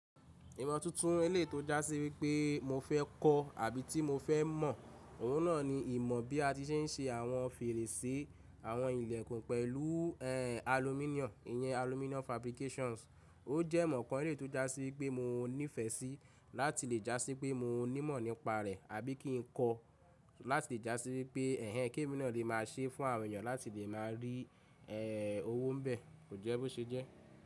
Ìmọ̀ tuntun eleyio tó já sí wípé mo fẹ́ kọ́ àbí tí mo fẹ́ mọ̀. Òhun náà ni ìmọ̀ bí a ti ṣe ń ṣe àwọn fèrèsé, àwọn ìlẹ̀kùn pẹ̀lú ẹ́ aluminium, ìyẹn aluminum fabrications. Ó jẹ́ ìmọ̀ kan eleyii tó já sí wípé mo nífẹ̀ sí láti lè já sí pé mo nímọ̀ nípa rẹ̀, àbí kí n kọ́ láti lè já sí wípé ẹ̀hẹ̀n ki emí naa lè máa ṣe fún àwọn èèyàn láti lè máa rí ẹ́ owó n bẹ́, kò jẹ́ bó ṣe jẹ́.